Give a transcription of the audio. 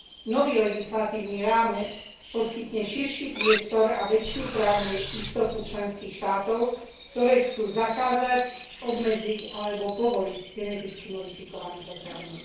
Nový legislatívny rámec poskytne širší priestor a väčšiu právnu istotu členských štátov, ktoré chcú zakázať, obmedziť alebo povoliť geneticky modifikované potraviny.